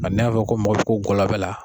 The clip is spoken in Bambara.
Ni y'a fɔ ko mɔgɔ bi ko gɔlɔbɛ la